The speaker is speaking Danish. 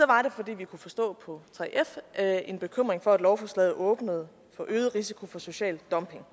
var det fordi vi kunne forstå på 3f at en bekymring for at lovforslaget åbnede for øget risiko for social dumping